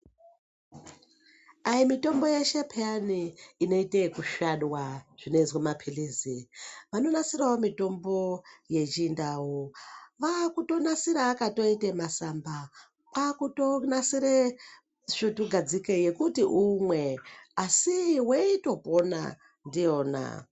Hai mutombo yeshe peyani ineite yekusvadwa zvinozwe maphirizi. Vanonasiravo mitombo yechinda vakutonasire akatoite masamba. Kwakutonasire svutu gadzike yekuti umwe asi veitopona ndiyona.